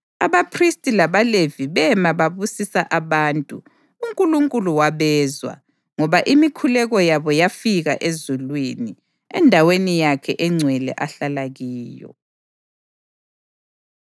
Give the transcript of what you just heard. Abaphristi labaLevi bema babusisa abantu, uNkulunkulu wabezwa, ngoba imikhuleko yabo yafika ezulwini, endaweni yakhe engcwele ahlala kiyo.